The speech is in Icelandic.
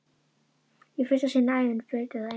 Í fyrsta sinn á ævinni breytir það engu.